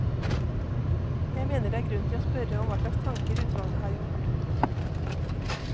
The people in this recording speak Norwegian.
Jeg mener det er grunn til å spørre om hva slags tanker utvalget har gjort.